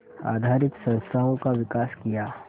आधारित संस्थाओं का विकास किया